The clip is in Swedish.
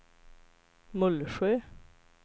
Mullsjö